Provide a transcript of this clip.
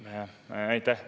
Aitäh!